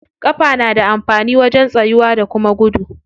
Ƙafa na da amfani wajen tsayuwa da kuma gudu.